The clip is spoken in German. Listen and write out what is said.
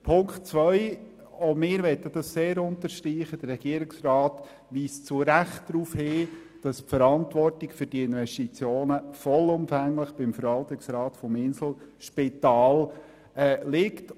Bei Punkt 2 möchten auch wir sehr unterstreichen, dass der Regierungsrat zu Recht darauf hinweist, die Verantwortung für diese Investitionen liege vollumfänglich beim Verwaltungsrat des Inselspitals.